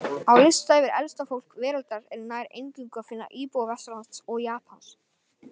Á lista yfir elsta fólk veraldar er nær eingöngu að finna íbúa Vesturlanda og Japans.